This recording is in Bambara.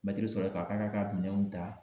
Mɛtiri sɔrɔle k'a k'a ka minɛnw ta